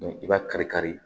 I b'a kari kari